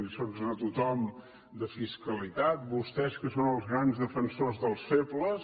alliçonen a tothom de fiscalitat vostès que són els grans defensors dels febles